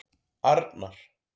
Arnar